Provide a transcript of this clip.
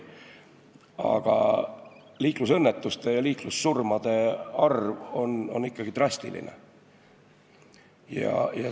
Aga liiklusõnnetuste ja liiklussurmade arv on ikkagi drastiline.